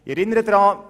Ich erinnere daran: